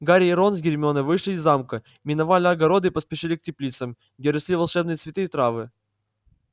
гарри и рон с гермионой вышли из замка миновали огороды и поспешили к теплицам где росли волшебные цветы и травы